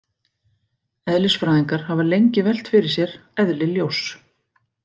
Eðlisfræðingar hafa lengi velt fyrir sér eðli ljóss.